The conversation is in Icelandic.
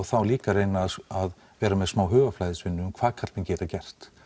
þá líka að reyna að vera með smá hugarflæðisvinnu um hvað karlmenn geta gert